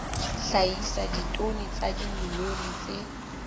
hlahisa ditone tsa dimilione tse